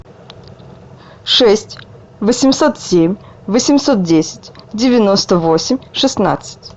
шесть восемьсот семь восемьсот десять девяносто восемь шестнадцать